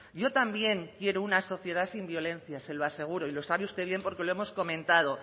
yo también quiero una sociedad sin violencia se lo aseguro y lo sabe usted bien porque lo hemos comentado